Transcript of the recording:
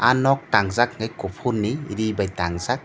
aw nok tangjaak ni kufur ni ree by tangjaak.